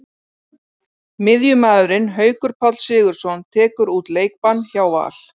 Miðjumaðurinn Haukur Páll Sigurðsson tekur út leikbann hjá Val.